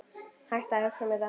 Hættu að hugsa um þetta.